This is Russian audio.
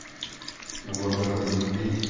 на глаза к ним буди